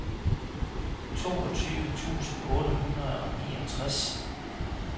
toogtyve tusind otte hundrede og niogtres